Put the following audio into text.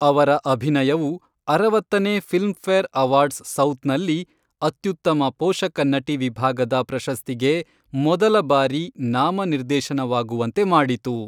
ಅವರ ಅಭಿನಯವು, ಅರವತ್ತನೇ ಫಿಲ್ಮ್ಫೇರ್ ಅವಾರ್ಡ್ಸ್ ಸೌತ್ನಲ್ಲಿ, ಅತ್ಯುತ್ತಮ ಪೋಷಕ ನಟಿ ವಿಭಾಗದ ಪ್ರಶಸ್ತಿಗೆ ಮೊದಲ ಬಾರಿ ನಾಮನಿರ್ದೇಶನವಾಗುವಂತೆ ಮಾಡಿತು.